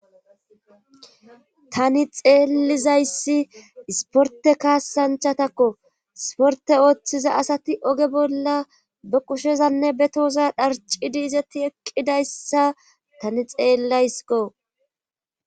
tani xeelizayssi isporte kaassanchatakko isporte ooththiza asati oge bolla be qushezanne be tooza dharcidi izatti eqqidayssa tani xeellaysko